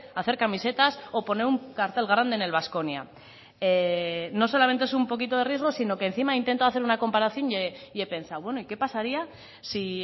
hacer camisetas o poner un cartel grande en el baskonia no solamente es un poquito de riesgo sino que encima he intentado hacer una comparación y he pensado bueno y qué pasaría si